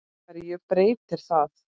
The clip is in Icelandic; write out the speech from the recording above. HVERJU BREYTIR ÞAÐ?